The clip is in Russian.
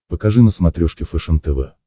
покажи на смотрешке фэшен тв